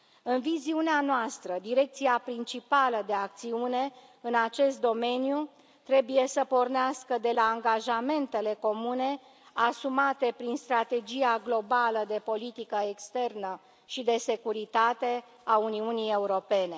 În viziunea noastră, direcția principală de acțiune în acest domeniu trebuie să pornească de la angajamentele comune asumate prin strategia globală de politică externă și de securitate a Uniunii Europene.